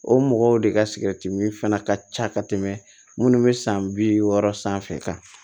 O mɔgɔw de ka min fana ka ca ka tɛmɛ minnu bɛ san bi wɔɔrɔ sanfɛ